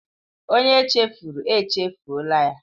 Onye echefuru, echefuọla ya.